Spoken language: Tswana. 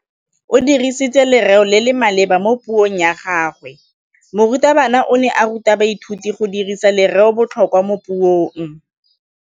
O dirisitse lerêo le le maleba mo puông ya gagwe. Morutabana o ne a ruta baithuti go dirisa lêrêôbotlhôkwa mo puong.